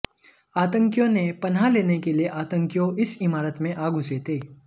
आतंकियों ने पनाह लेने के लिए आतंकियों इस इमारत में आ घुसे थे